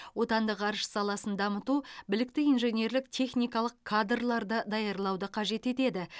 отандық ғарыш саласын дамыту білікті инженерлік техникалық кадрларды даярлауды қажет етеді